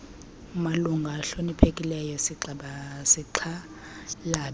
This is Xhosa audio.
malungu ahloniphekileyo sixhalabe